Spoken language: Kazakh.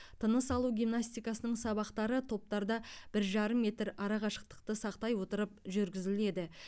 тыныс алу гимнастикасының сабақтары топтарда бір жарым метр арақашықтықты сақтай отырып жүргізіледі